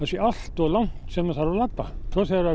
sé allt of langt sem það þarf að labba og þegar það